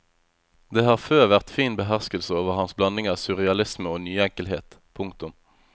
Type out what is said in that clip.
Det har før vært fin beherskelse over hans blanding av surrealisme og nyenkelhet. punktum